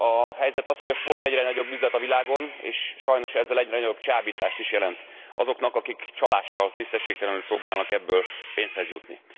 A helyzet az, hogy a sport egyre nagyobb üzlet a világon, és sajnos ezzel egyre nagyobb csábítást is jelent azoknak, akik csalással, tisztességtelenül próbálnak ebből pénzhez jutni.